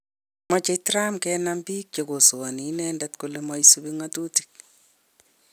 Meche Trump kenam biik che kosoani inende kale maisubi ng'atutik